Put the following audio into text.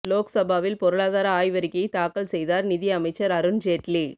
லோக்சபாவில் பொருளாதார ஆய்வறிக்கையை தாக்கல் செய்தார் நிதி அமைச்சர் அருண் ஜேட்லி